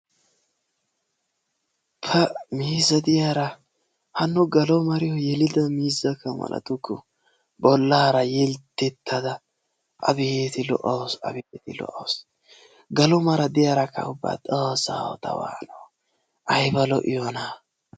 pa! miizzee diyaara hanno galo maariyoo yeelida miizza yeelidaba malatukku. bollaara yelttettada abeeti lo"awusu abeeti lo"awusu. gaalo mara diyaarakaa ubba xoossaw ta waanoo! aybba lo"iyoonaa!